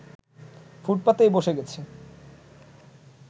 ফুটপাতেই বসে গেছি